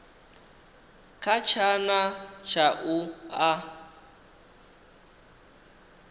kha tshana tsha u a